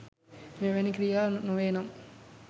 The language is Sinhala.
මෙවැනි ක්‍රියා නොවේනම්